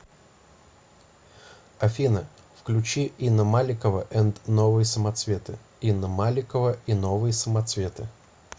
афина включи инна маликова энд новые самоцветы инна маликова и новые самоцветы